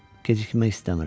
Gecikmək istəmirəm.